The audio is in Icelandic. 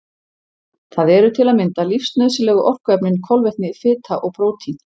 Það eru til að mynda lífsnauðsynlegu orkuefnin kolvetni, fita og prótín.